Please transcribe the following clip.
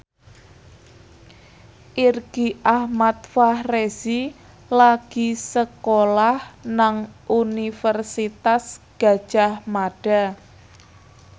Irgi Ahmad Fahrezi lagi sekolah nang Universitas Gadjah Mada